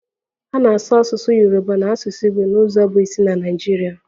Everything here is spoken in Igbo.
A na-asụ asụsụ Yoruba na asụsụ Igbo n'ụzọ bụ isi na Naịjirịa